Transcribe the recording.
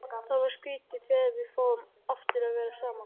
Það verður skrýtið þegar við fáum aftur að vera saman.